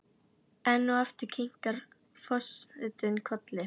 Enn og aftur kinkar forsetinn kolli.